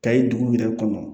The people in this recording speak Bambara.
Kayi dugu yɛrɛ kɔnɔ